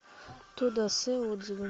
тодасе отзывы